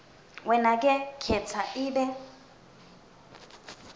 wenake khetsa ibe